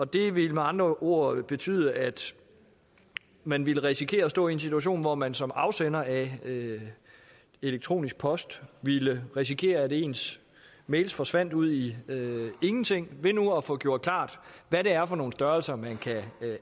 det ville med andre ord betyde at man ville risikere at stå i en situation hvor man som afsender af elektronisk post ville risikere at ens mails forsvandt ud i ingenting ved nu at få gjort klart hvad det er for nogle størrelser man kan